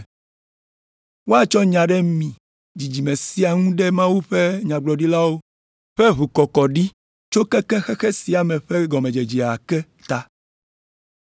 Woatsɔ nya ɖe mi dzidzime sia ŋu ɖe Mawu ƒe nyagblɔɖilawo ƒe ʋukɔkɔɖi tso keke xexe sia me ƒe gɔmedzedze ke ta.